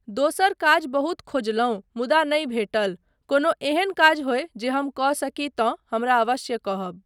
दोसर काज बहुत खोजलहुँ मुदा नहि भेटल। कोनो एहन काज होय जे हम कऽ सकी तँ हमरा अवश्य कहब।